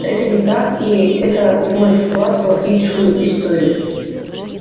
это не так и это мой вклад в галактическую историю